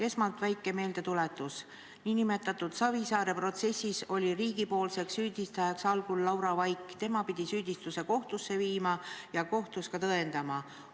Esmalt väike meeldetuletus: nn Savisaare protsessis oli riigipoolseks süüdistajaks algul Laura Vaik, tema pidi süüdistuse kohtusse viima ja kohtus ka tõendama.